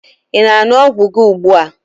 Ị na-aṅụ ọgwụ gị ugbua?